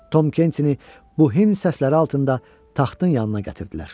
Tom Kentini bu himn səsləri altında taxtın yanına gətirdilər.